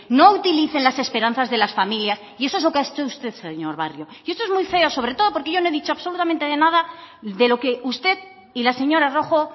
no utilicen las esperanzas de las familias y eso es lo que ha hecho usted señor barrio y eso es muy feo sobre todo porque yo no he dicho absolutamente nada de lo que usted y la señora rojo